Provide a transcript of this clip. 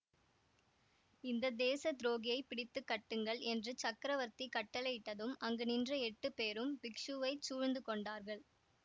இந்த தேச துரோகியைப் பிடித்து கட்டுங்கள் என்று சக்கரவர்த்தி கட்டளையிட்டதும் அங்கு நின்ற எட்டுப் பேரும் பிக்ஷுவைச் சூழ்ந்து கொண்டார்கள்